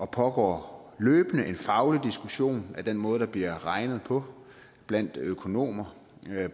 pågår løbende en faglig diskussion af den måde der bliver regnet på blandt økonomer